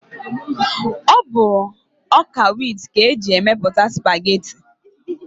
Ọ bụ ọ́kà wit ka eji emepụta spageti.